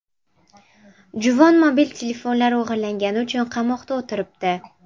Juvon mobil telefonlar o‘g‘irlagani uchun qamoqda o‘tiribdi.